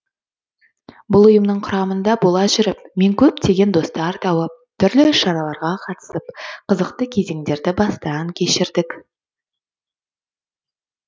бұл ұйымның құрамында бола жүріп мен көптеген достар тауып түрлі іс шараларға қатысып қызықты кезеңдерді бастан кешірдік